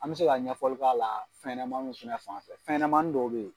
An bɛ se ka ɲɛfɔli k'a la fɛnɲanamanninw fɛnɛ fanfɛ fɛnɲanamannin dɔw bɛ ye.